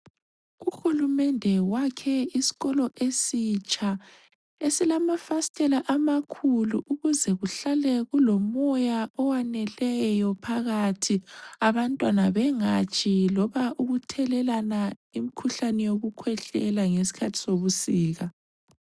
Uhulumende wakhe isikolo esitsha esilamafasitela amakhulu ukuze kuhlale kulomoya owaneleyo phakathi abantwana bengatshi loba ukuthelelana imikhuhlane yokukhwehlela ngesikhathi sobusika.